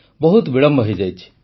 ବହୁତ ବିଳମ୍ବ ହୋଇଯାଇଛି